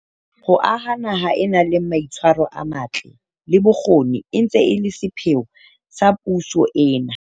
Ho aha naha e nang le mai tshwaro a matle, le bokgoni e ntse e le sepheo sa puso ena.